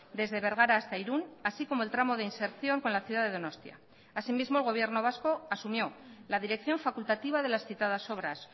desde bergara hasta irun así como el tramo de inserción con la ciudad de donostia asimismo el gobierno vasco asumió la dirección facultativa de las citadas obras